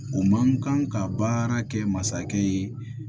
O man kan ka baara kɛ masakɛ ye